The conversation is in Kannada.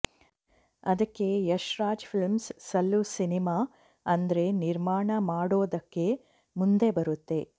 ಅದಕ್ಕೆ ಯಶ್ ರಾಜ್ ಫಿಲ್ಮ್ಸ್ ಸಲ್ಲು ಸಿನಿಮಾ ಅಂದ್ರೆ ನಿರ್ಮಾಣ ಮಾಡೋದಕ್ಕೆ ಮುಂದೆ ಬರುತ್ತೆ